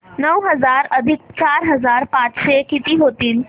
नऊ हजार अधिक चार हजार पाचशे किती होतील